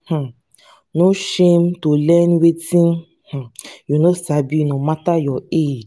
um no shame to learn wetin um you no sabi no mata your age.